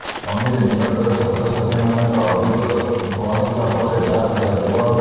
committee ନିକଟରେ ଛାତ୍ରଛାତ୍ରୀମାନଙ୍କର ଅଭିଯୋଗ ପହଞ୍ଚିବା ପରେ ଯାଞ୍ଚ କରାଯିବ